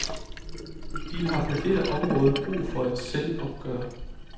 De har på dette område brug for et selvopgør.